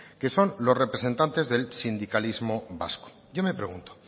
que son los representantes del sindicalismo vasco yo me pregunto